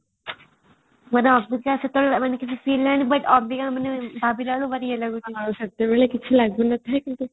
ସେଇଟା ଅବିକା ସେତେବେଳେ ମାନେ କିଛି feel ହେଇନଥିଲା but ଅବିକା ମାନେ ଭବିଲା ବେଳକୁ ଭାରି ଇଏ ଲାଗୁଛି ଆଉ ସେତେବେଳେ କିଛି ଲଗୁନଥିଲା କିନ୍ତୁ